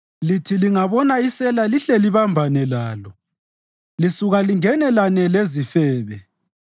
Lithi lingabona isela lihle libambane lalo; lisuka lingenelane lezifebe.